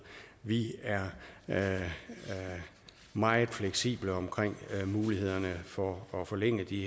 vi er er meget fleksible omkring mulighederne for at forlænge de